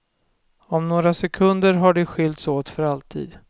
Om några sekunder har de skilts åt för alltid.